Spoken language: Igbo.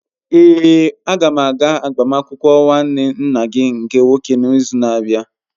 Èé, a ga m aga agbamakwụkwọ nwanne nna gị nke nwoke n'izu na-abịa.